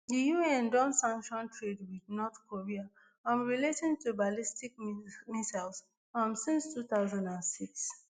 di un don sanction trade wit north korea um relating to ballistic missiles um since two thousand and six